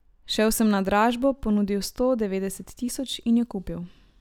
Šel sem na dražbo, ponudil sto devetdeset tisoč in jo kupil.